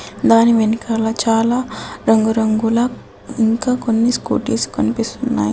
దాని వెనకాల చాలా రంగురంగుల ఇంకా కొన్ని స్కూటీస్ కనిపిస్తున్నా యి.